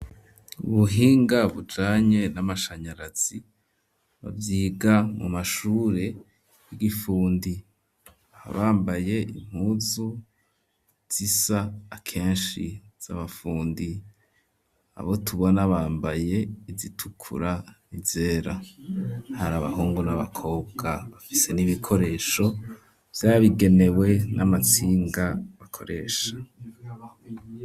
Ubuhinga bujanye n'amashanyarazi bavyiga mu mashure y'igifundi bakaba bambaye impuzu zisa akeshi z'abafundi abo tubona bambaye izitukura izera hari abahungu n'abakobwa bafise n'ibikoresho vyabigenewe n'amatsinga bakoresha.